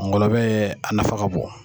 Ngɔlɔbɛ ye a nafa ka bon